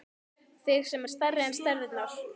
Þig sem er stærri en stærðirnar.